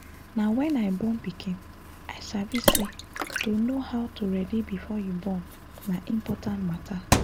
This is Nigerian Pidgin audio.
na wen i born pikin i sabi say to know how to ready before you born na important matter